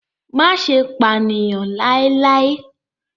Má ṣe pànìyàn láíláí!